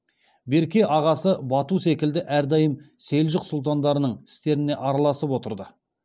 берке ағасы бату секілді әрдайым селжұқ сұлтандарының істеріне араласып отырды